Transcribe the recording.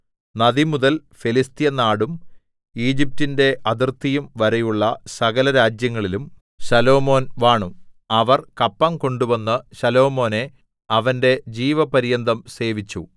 നദിമുതൽ ഫെലിസ്ത്യനാടും ഈജിപ്റ്റിന്റെ അതിർത്തിയും വരെയുള്ള സകലരാജ്യങ്ങളിലും ശലോമോൻ വാണു അവർ കപ്പം കൊണ്ടുവന്ന് ശലോമോനെ അവന്റെ ജീവപര്യന്തം സേവിച്ചു